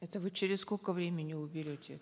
это вы через сколько времени уберете